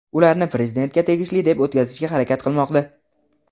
ularni Prezidentga tegishli deb o‘tkazishga harakat qilmoqda.